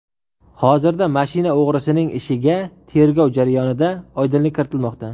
Hozirda mashina o‘g‘risining ishiga tergov jarayonida oydinlik kiritilmoqda.